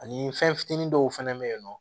Ani fɛn fitinin dɔw fɛnɛ bɛ yen nɔ